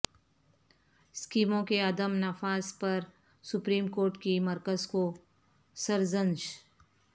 اسکیموں کے عدم نفاذ پر سپریم کورٹ کی مرکز کو سرزنش